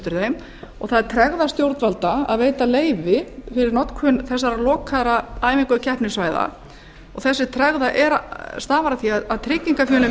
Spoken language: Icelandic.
þeim og það er tregða stjórnvalda að veita leyfi fyrir notkun þessara lokuðu æfinga og keppnissvæða þessi tregða stafar af því að tryggingafélögin vilja